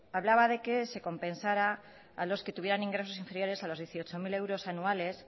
hablaba de que se compensara a los que tuvieran ingresos inferiores a los dieciocho mil euros anuales